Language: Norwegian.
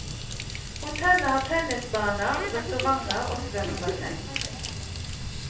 Hotellet har tennisbaner, restauranter og svømmebasseng.